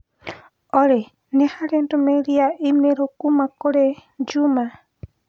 Olly nĩ harĩ ndũmĩrĩri ya i-mīrū kuuma kũrĩ Juma?